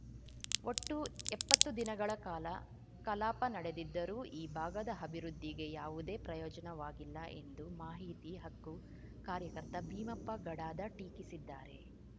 ಒಟ್ಟು ಎಪ್ಪತ್ತು ದಿನಗಳ ಕಾಲ ಕಲಾಪ ನಡೆದಿದ್ದರೂ ಈ ಭಾಗದ ಅಭಿವೃದ್ಧಿಗೆ ಯಾವುದೇ ಪ್ರಯೋಜನವಾಗಿಲ್ಲ ಎಂದು ಮಾಹಿತಿ ಹಕ್ಕು ಕಾರ್ಯಕರ್ತ ಭೀಮಪ್ಪ ಗಡಾದ ಟೀಕಿಸಿದ್ದಾರೆ